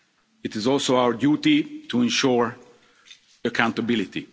It is also our duty to ensure accountability.